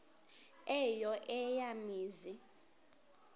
eyo eya mizi